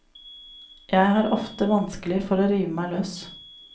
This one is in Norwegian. Jeg har ofte vanskelig for å rive meg løs.